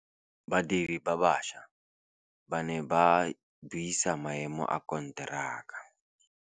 Badiri ba baša ba ne ba buisa maêmô a konteraka.